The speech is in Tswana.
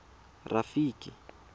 rafiki